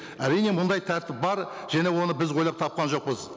әрине мұндай тәртіп бар және оны біз ойлап тапқан жоқпыз